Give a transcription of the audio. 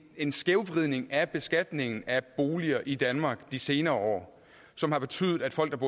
en skævvridning af beskatningen af boliger i danmark de senere år som har betydet at folk